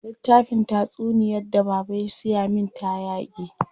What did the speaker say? Littafin tatsunyar da baba ya siya min ta yage.